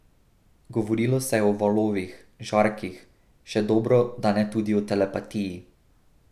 Govorilo se je o valovih, žarkih, še dobro, da ne tudi o telepatiji.